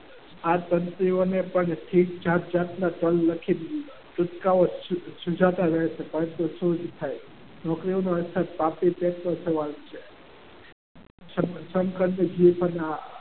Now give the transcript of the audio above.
આ તંત્રીઓને પણ ઠીક જાતજાતના સાહેબ આ તો પાપી પેટનું સવાલ છે.